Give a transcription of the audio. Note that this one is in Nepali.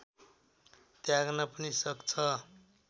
त्याग्न पनि सक्छ